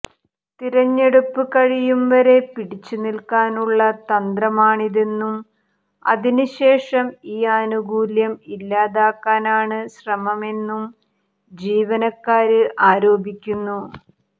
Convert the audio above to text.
തിരഞ്ഞെടുപ്പ് കഴിയും വരെ പിടിച്ച് നില്ക്കാനുള്ള തന്ത്രമാണിതെന്നും അതിന് ശേഷം ഈ ആനുകൂല്യം ഇല്ലാതാക്കാനാണ് ശ്രമമെന്നും ജീവനക്കാര് ആരോപിക്കുന്നു